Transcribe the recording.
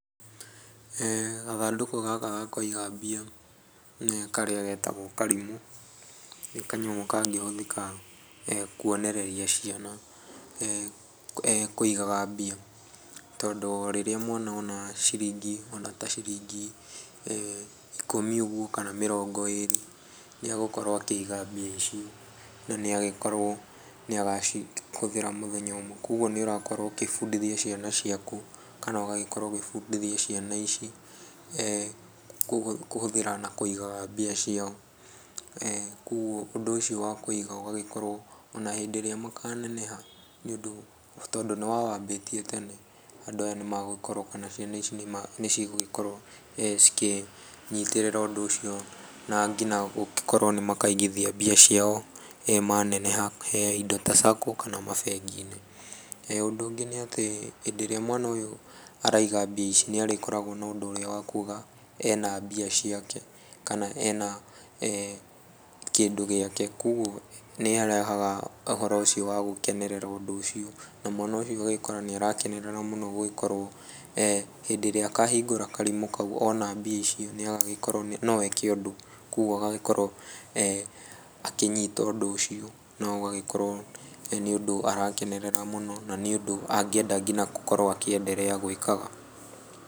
Gathandũkũ gaka ga kũiga mbiya karĩa getagwo karimu nĩ kanyamũ kangĩhũthĩka kwonereria ciana kũigaga mbia. Tondũ rĩrĩa mwana ona ciringi ona ta ciringi ikũmi ũguo kana mirongo ĩrĩ nĩ agũkorwo akĩiga mbia ici, na nĩ agĩkorwo nĩ agacihũthĩra mũthenya ũmwe. Kogwo nĩ ũrakorwo ũkĩbundithia ciana ciaku kana ũgagĩkorwo ũkĩbundithia ciana ici kũhũthĩra na kũigaga mbia ciao. Koguo ũndũ ũcio wa kũiga ũgagĩkorwo ona hĩndĩ ĩrĩa makaneneha nĩ ũndũ, tondũ nĩ wawambĩtie tene andũ aya nĩ magũgĩkorwo kana ciana ici nĩ cigũgĩkorwo cikĩnyitĩrĩra ũndũ ũcio na nginya gũgĩkorwo nĩ makaigithia mbia ciao maneneha, indo ta Sacco na mabengi-inĩ. Ũndũ ũngĩ nĩ atĩ hĩndĩ ĩrĩa mwana araiga mbia ici nĩ arĩkoragwo na ũndũ ũrĩa wa kuga ena mbia ciake kana ena kĩndũ gĩake, kogwo nĩ arehaga ũhoro ũcio wa gũkenerera ũndũ ũcio na mwana ũcio ũgagĩkora nĩ aranekenerera mũno gũgĩkorwo hĩndĩ ĩrĩa akahingũra karimu kau oona mbia icio no eke ũndũ. Kogwo agagĩkorwo akĩnyita ũndũ ũcio na ũgagĩkorwo nĩ ũndũ arakenerera mũno na nĩ ũndũ angĩenda nginya gũkorwo akĩenderea gwĩkaga.